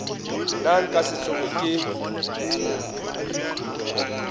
nna nka se tsoge ke